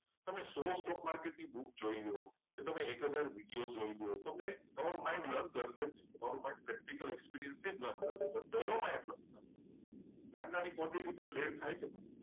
તમે સો stock market ની book જોઈ લો. કે તમે એક હજાર જેટલા વિડિયો જોઈ લો. અને તમારો mind learn કરશે જ નહીં. તમારું mind practical experience થી જ mind practical experience રશે. નાની નાની quntity trade ચાલુ કરો.